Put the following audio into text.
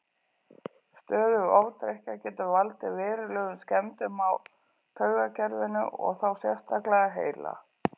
Stöðug ofdrykkja getur valdið verulegum skemmdum á taugakerfinu og þá sérstaklega heila.